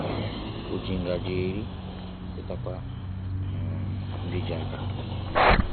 O ji ngaji eri chetakwa um ndị ji aka